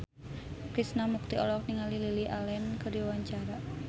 Krishna Mukti olohok ningali Lily Allen keur diwawancara